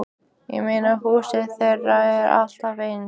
Ég meina, húsið þeirra er alltaf eins og